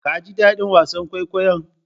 Kaji daɗin wasa kwaikwayon?